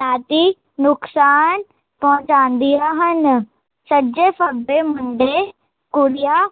ਨਾਤੀ ਨੁਕਸਾਨ ਪਹੁੰਚਾਦੀਆ ਹਨ ਸੱਜੇ ਫਬੇ ਮੁੰਡੇ, ਕੁੜੀਆ